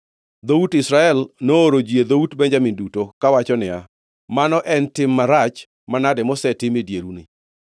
Dhout Israel nooro ji e dhout Benjamin duto, kawacho niya, “Mano en tim marach manade mosetim e dieruni?